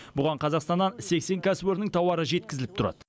бұған қазақстаннан сексен кәсіпорынның тауары жеткізіліп тұрады